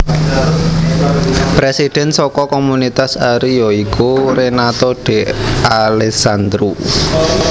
Presidhen saka Komunitas Ari ya iku Renato De Alessandro